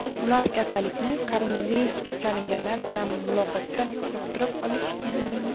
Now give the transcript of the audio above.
Ular kasallikni koronavirusga chalinganlar bilan muloqotda yuqtirib olishgan.